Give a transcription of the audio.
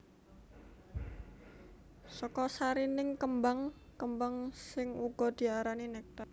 Saka sarining kembang kembang sing uga diarani néktar